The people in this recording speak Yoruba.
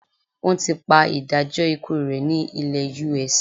Wọ́n ti pa ìdájọ́ ikú rẹ́ ní ilẹ US.